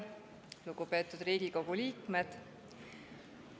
Lugupeetud Riigikogu liikmed!